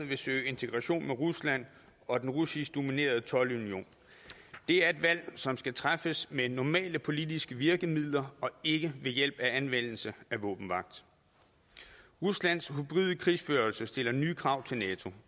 vil søge integration med rusland og den russisk dominerede toldunion det er et valg som skal træffes med normale politiske virkemidler og ikke ved hjælp af anvendelse af våbenmagt ruslands hybride krigsførelse stiller nye krav til nato